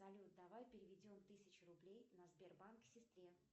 салют давай переведем тысячу рублей на сбербанк сестре